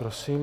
Prosím.